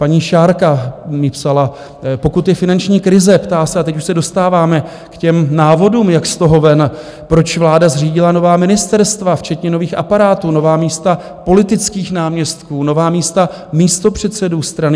Paní Šárka mi psala: Pokud je finanční krize, ptá se, a teď už se dostáváme k těm návodům, jak z toho ven, proč vláda zřídila nová ministerstva včetně nových aparátů, nová místa politických náměstků, nová místa místopředsedů strany?